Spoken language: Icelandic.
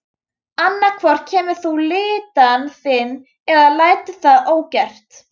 Annað hvort kemur þú lyddan þín eða lætur það ógert.